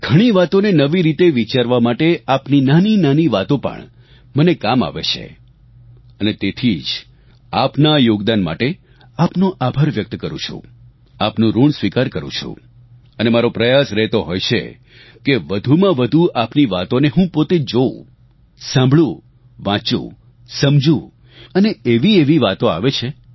ઘણી વાતોને નવી રીતે વિચારવા માટે આપની નાનીનાની વાતો પણ મને કામ આવે છે અને તેથી જ આપના આ યોગદાન માટે આપનો આભાર વ્યક્ત કરું છું આપનું ઋણ સ્વીકાર કરું છું અને મારો પ્રયાસ રહેતો હોય છે કે વધુમાં વધુ આપની વાતોને હું પોતે જોવું સાંભળું વાંચુ સમજુ અને એવી એવી વાતો આવે છે